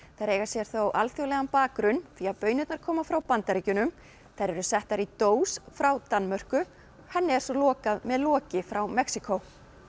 þær eiga sér þó alþjóðlegan bakgrunn því að baunirnar koma frá Bandaríkjunum þær eru settar í dós frá Danmörku henni er svo lokað með loki frá Mexíkó